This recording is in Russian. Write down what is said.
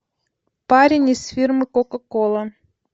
парень из фирмы кока кола